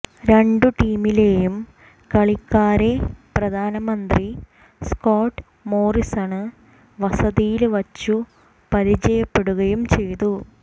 രണ്ടു ടീമിലെയും കളിക്കാരെ പ്രധാനമന്ത്രി സ്കോട്ട് മോറിസണ് വസതിയില് വച്ചു പരിചയപ്പെടുകയും ചെയ്തു